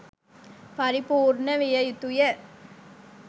පරිපූර්ණ විය යුතුය.